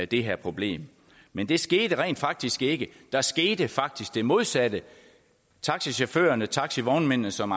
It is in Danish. det her problem men det skete rent faktisk ikke der skete faktisk det modsatte taxichaufførerne og taxivognmændene som